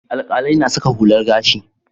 Alƙalai na saka hular gashi.